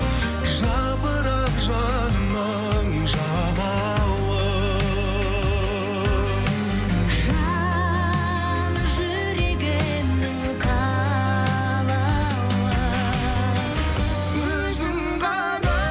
жапырақ жанымның жалауы жан жүрегімнің қалауы өзің ғана